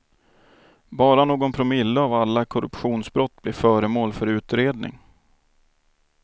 Bara någon promille av alla korruptionsbrott blir föremål för utredning.